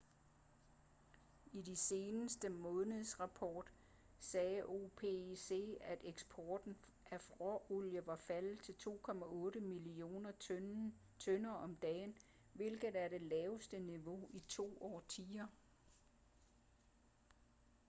i sin seneste månedsrapport sagde opec at eksporten af råolie var faldet til 2,8 millioner tønder om dagen hvilket er det laveste niveau i to årtier